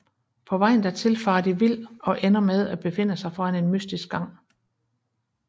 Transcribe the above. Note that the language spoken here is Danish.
På vejen dertil farer de vildt og ender med at befinde sig foran en mystisk gang